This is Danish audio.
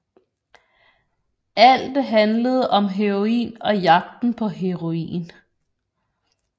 Alt handlede om heroin og jagten på heroin